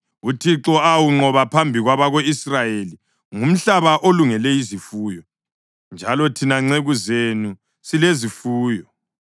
uThixo awunqoba phambi kwabako-Israyeli, ngumhlaba olungele izifuyo, njalo thina nceku zenu silezifuyo.”